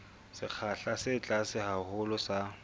sekgahla se tlase haholo sa